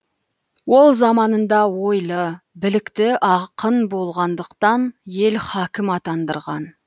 ол заманында ойлы білікті ақын болғандықтан ел хакім атандырған